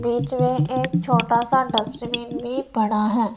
बीच मे एक छोटा सा डस्टबिन भी पड़ा है।